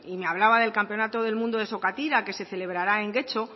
me hablaba del campeonato del mundo de sokatira que se celebrará en getxo